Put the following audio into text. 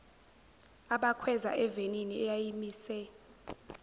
abakhweza evenini eyayimise